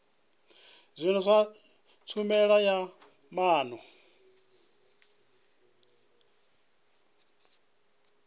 zwino sa tshumelo ya maana